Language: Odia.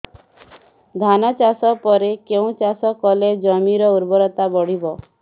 ଧାନ ଚାଷ ପରେ କେଉଁ ଚାଷ କଲେ ଜମିର ଉର୍ବରତା ବଢିବ